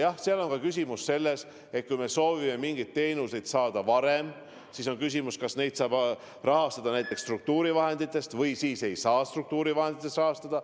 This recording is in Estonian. Asi on ka selles, et kui me soovime mingeid teenuseid saada varem, siis on küsimus, kas neid saab rahastada näiteks struktuurivahenditest või ei saa struktuurivahenditest rahastada.